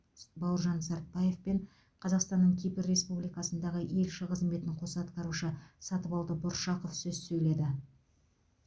бауыржан сартбаев пен қазақстанның кипр республикасындағы елшісі қызметін қоса атқарушы сатыбалды бұршақов сөз сөйледі